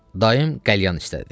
Dayım qəlyan istədi.